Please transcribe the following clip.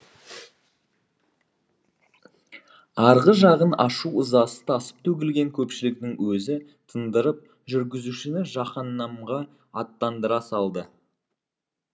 арғы жағын ашу ызасы тасып төгілген көпшіліктің өзі тындырып жүргізушіні жаһаннамға аттандыра салды